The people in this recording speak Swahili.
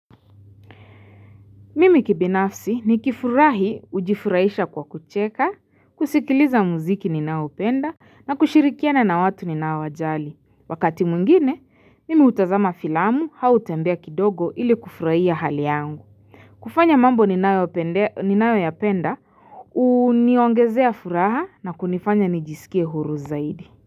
Mimi kibinafsi nikifurahi ujifurahisha kwa kucheka, kusikiliza muziki ninaoupenda, na kushirikiana na watu ninaowajali. Wakati mwingine mimi utazama filamu au utembea kidogo ili kufurahia hali yangu. Kufanya mambo ninayoyapenda uniongezea furaha na kunifanya nijiskie huru zaidi.